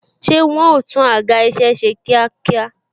Ṣé wọn ó tún àga isẹ ṣe kíákíá?